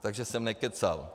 Takže jsem nekecal.